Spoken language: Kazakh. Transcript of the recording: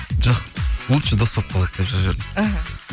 жоқ лучше дос болып қалайық деп жазып жібердім іхі